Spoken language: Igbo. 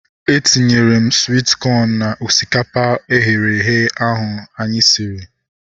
Etinyere m swit kọn na osikapa eghere eghe ahu anyị siri